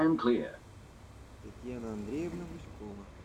татьяна андреевна гуськова